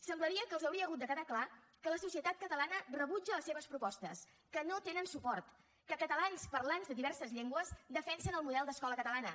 semblaria que els hauria hagut de quedar clar que la societat catalana rebutja les seves propostes que no tenen suport que catalans parlants de diverses llengües defensen el model d’escola catalana